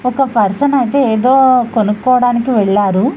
ఒక పర్సన్ ఐతే ఏదో కొనుక్కోవడానికి వెళ్లారు.